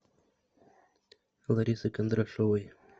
ларисы кондрашовой